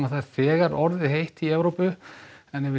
það er þegar orðið heitt í Evrópu við